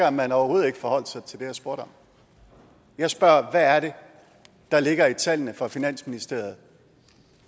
at man overhovedet ikke forholdt sig til det jeg spurgte om jeg spørger hvad er det der ligger i tallene fra finansministeriet